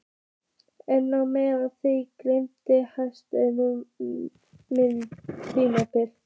En á meðan þig dreymir lengist minn tími.